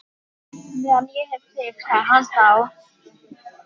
Nú geng ég bara um gólf, alveg endalaust.